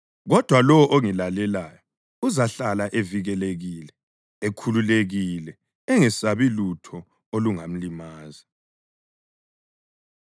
kodwa lowo ongilalelayo uzahlala evikelekile ekhululekile, engesabi lutho olungamlimaza.”